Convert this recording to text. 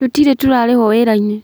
Tũtirĩ tũrarĩhwo wĩra-inĩ